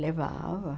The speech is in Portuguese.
Levava.